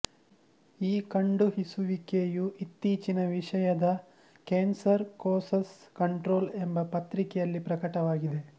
ಈ ಕಂಡುಹಿಸುವಿಕೆಯು ಇತ್ತೀಚಿನ ವಿಷಯದ ಕೇಂಸರ್ ಕೊಸಸ್ ಕಂಟ್ರೊಲ್ ಎಂಬ ಪತ್ರಿಕೆಯಲ್ಲಿ ಪ್ರಕಟವಾಗಿದೆ